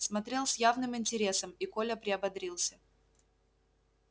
смотрел с явным интересом и коля приободрился